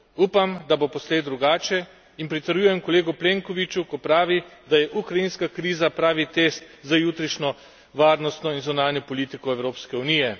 Upam, da bo poslej drugače, in pritrjujem kolegu Plenkoviću, ko pravi, da je ukrajinska kriza pravi test za jutrišnjo varnostno in zunanjo politiko Evropske unije.